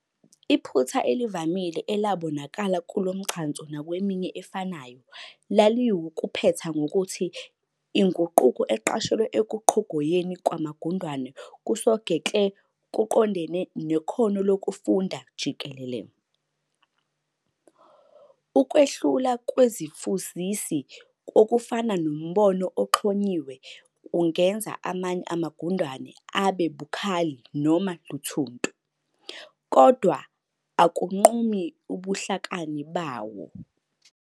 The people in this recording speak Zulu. Iphutha elivamile elabonakala kulomgcanso nakweminye efanayo laliwukuphetha ngokuthi inguquko eqashelwa ekuqhogoyeni kwamafundane kusogekle kuqondene nekhono lokufunda jikelele. Ukwehlula kwezifuzisi, okufana nombono oxhunyiwe, ungenza amanye amagundane abe "bukhali" noma "luthuntu", kodwana akunqumi ubuhlakani bawo.